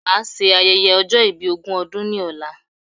Màa ṣe ayẹyẹ ọjọ́ ìbí ogún ọdún ni ọ̀la